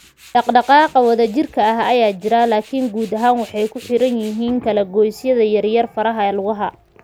Dhaqdhaqaaqa wadajirka ah ayaa jira, laakiin guud ahaan waxay ku xiran yihiin kala-goysyada yaryar (faraha, lugaha).